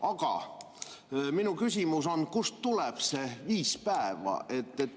Aga minu küsimus on, kust tuleb see viis päeva.